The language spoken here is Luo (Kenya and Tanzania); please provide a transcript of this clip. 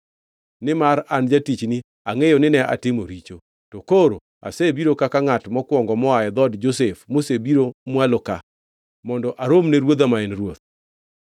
Nimar an jatichni angʼeyo nine atimo richo, to koro asebiro kaka ngʼat mokwongo moa e dhood Josef mosebiro mwalo ka mondo aromni ruodha ma en ruoth?”